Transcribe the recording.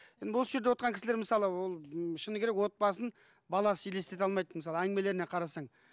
енді осы жерде отырған кісілер мысалы ол м шыны керек отбасын баласыз елестете алмайды мысалы әңгімелеріне қарасаң